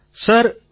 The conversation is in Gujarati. શ્રી હરિ જી